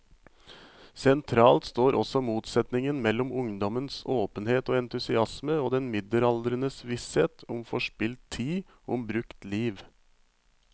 Sentralt står også motsetningen mellom ungdommens åpenhet og entusiasme og den middelaldrendes visshet om forspilt tid, om brukt liv.